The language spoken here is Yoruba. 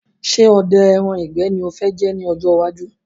Ṣé odẹ ẹran ìgbẹ́ ni ẹ fẹ dì ní ọ̀jọ iwájú?